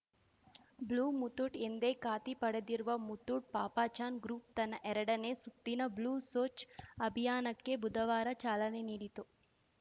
blue Muthoot ಎಂದೆ ಖಾತಿ ಪಡೆದಿರುವ ಮುತ್ತೂಟ್‌ ಪಾಪಚಾನ್‌ ಗ್ರೂಪ್‌ ತನ್ನ ಎರಡನೇ ಸುತ್ತಿನ ಬ್ಲೂ ಸೋಚ್‌ ಅಭಿಯಾನಕ್ಕೆ ಬುಧವಾರ ಚಾಲನೆ ನೀಡಿತು